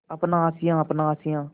अपना आशियाँ अपना आशियाँ